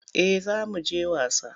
Eh za mu je wasa.